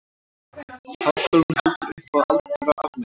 Háskólinn heldur upp á aldarafmæli